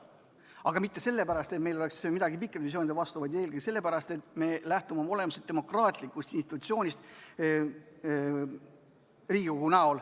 Aga mitte sellepärast, et meil oleks midagi pikaaegsete visioonide vastu, vaid eelkõige sellepärast, et me lähtume Riigikogust kui demokraatlikust institutsioonist.